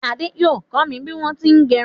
Ade yóò kọ mi bí wọn ṣé ń gẹrún.